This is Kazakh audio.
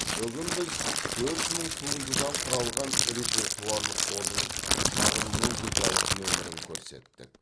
бүгін біз төрт мың туындыдан құралған репертуарлық қордың шағын музыкалық нөмірін көрсеттік